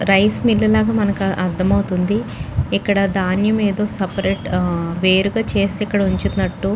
rice mill లాగా మనకి అర్ధం అవుతుంది ఇక్కడ ధాన్యం ఏదో సెపరేట్ వేరుగా చేసి ఇక్కడ ఉంచుతున్నటు --